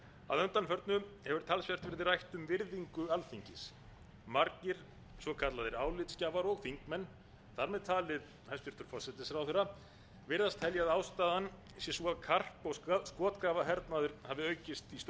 að undanförnu hefur talsvert verið rætt um virðingu alþingis margir svo kallaðir álitsgjafar og þingmenn þar með talið hæstvirtur forsætisráðherra virðast telja að ástæðan sé sú að karp og skotgrafahernaður hafi aukist í störfum